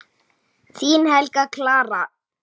Þín Helga Clara.